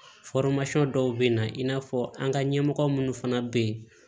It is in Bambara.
dɔw bɛ na i n'a fɔ an ka ɲɛmɔgɔ minnu fana bɛ yen